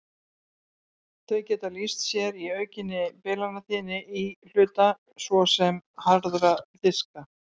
Þau geta lýst sér í aukinni bilanatíðni íhluta, svo sem harðra diska.